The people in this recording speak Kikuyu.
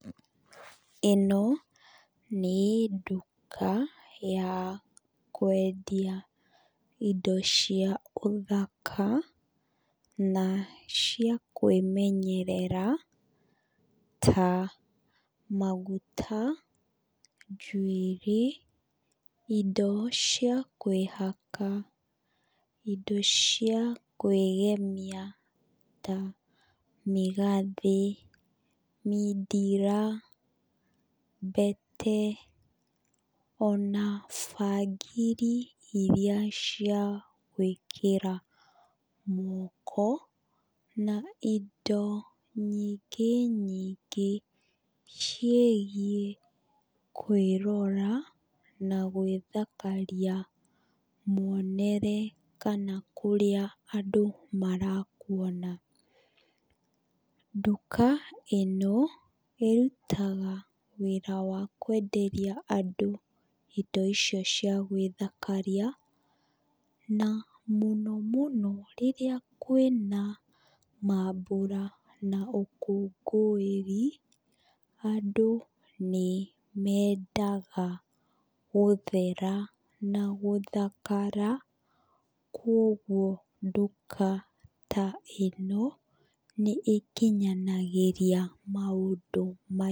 ĩno nĩ nduka ya kwendia indo cia ũthaka na cia kåĩmenyerera ta maguta, njuĩrĩ, indo cia kwĩhaka, indo cia kwĩgemia ta mĩgathĩ mindira, mbete, ona bangiri iria cia gwĩkĩra moko na indo ingĩ nyinyngĩ ciĩgiĩ kwĩrora na gwĩthakaria muonere kana kũrĩa andũ marakuona. Nduka ĩno ĩrutaga wĩra wa kwenderia andũ indo icio cia gwĩthakaria na mũno mũno rĩrĩa kwĩna maambura na ũkũngũĩri, andũ nĩ mendaga gũthera na gũthakara, kuũguo nduka ta ĩno nĩ ĩkinyangĩria maũndũ maya.